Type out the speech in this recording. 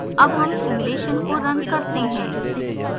अब हम simulation को now करते हैं